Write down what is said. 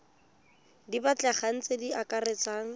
di batlegang tse di akaretsang